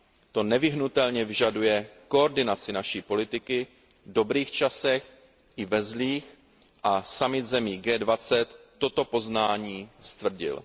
To nevyhnutelně vyžaduje koordinaci naší politiky, v dobrých časech, i ve zlých, a summit zemí G20 toto poznání stvrdil.